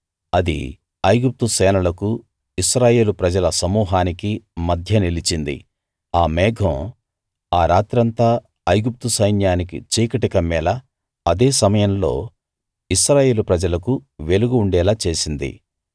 అది ఐగుప్తు సేనలకూ ఇశ్రాయేలు ప్రజల సమూహనికీ మధ్య నిలిచింది ఆ మేఘం ఆ రాత్రంతా ఐగుప్తు సైన్యానికి చీకటి కమ్మేలా అదే సమయంలో ఇశ్రాయేలు ప్రజలకు వెలుగు ఉండేలా చేసింది